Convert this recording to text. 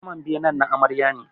Saman benen na Amarya ne